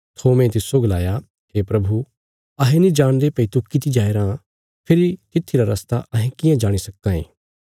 थोमे तिस्सो गलाया हे प्रभु अहें नीं जाणदे भई तू किति जाया राँ फेरी तित्थी रा रस्ता अहें कियां जाणी सक्का यें